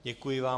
Děkuji vám.